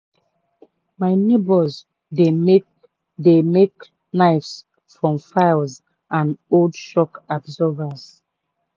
my neighbours dey make dey make knives from files and old shock absorbers.